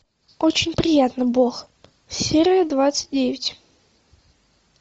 очень приятно бог серия двадцать девять